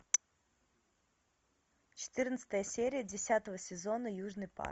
четырнадцатая серия десятого сезона южный парк